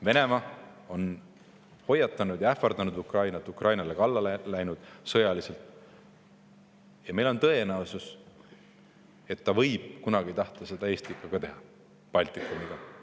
Venemaa on hoiatanud ja ähvardanud Ukrainat, läinud talle sõjaliselt kallale, ja on tõenäosus, et ta võib kunagi tahta seda teha ka Eestiga, Baltikumiga.